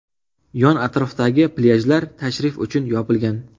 Yon-atrofdagi plyajlar tashrif uchun yopilgan.